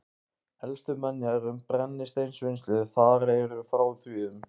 Elstu menjar um brennisteinsvinnslu þar eru frá því um